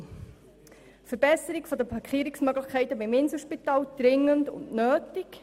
«Verbesserung der Parkierungsmöglichkeiten beim Inselspital – dringend und nötig».